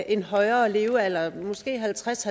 en højere levealder måske halvtreds